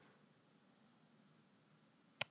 Geirþjófur, hvað er opið lengi á fimmtudaginn?